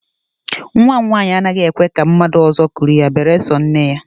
Nnwa m nwaanyị anaghị ekwe ka mmadụ ọzọ kuru ya beresọ nne ya